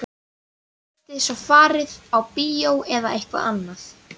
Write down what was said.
Þið getið svo farið á bíó eða eitthvað annað.